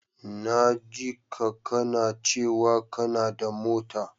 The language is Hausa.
Na jika kana cewa kanada mota.